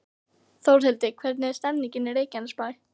Þórhildur, hvernig er stemningin í Reykjanesbæ?